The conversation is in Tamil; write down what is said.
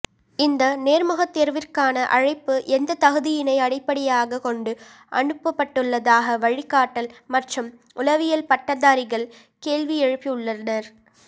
இந்த நோ்முகத்தோ்விற்கான அழைப்பு எந்த தகுதியினை அடிப்படையாக கொண்டு அனுப்பட்டுள்ளதாக வழிகாட்டல் மற்றும் உளவியல் பட்டதாரிகள் கேள்வியெழுப்பியுள்ளனா்